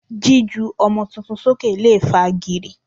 Jíju ọmọ tuntun sókè lè fa gìrì.